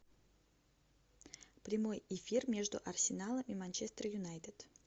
прямой эфир между арсеналом и манчестер юнайтед